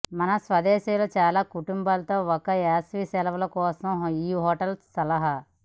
మా స్వదేశీయుల చాలా కుటుంబంతో ఒక వేసవి సెలవు కోసం ఈ హోటల్ సలహా